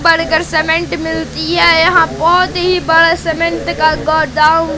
cement मिलती है यहां बहुत ही बड़ा का गोडाउन --